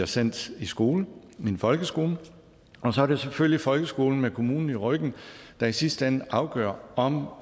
sendt i skole en folkeskole og så er det selvfølgelig folkeskolen med kommunen i ryggen der i sidste ende afgør om